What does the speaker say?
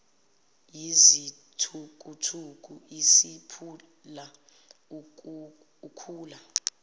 yizithukuthuku isiphula ukhula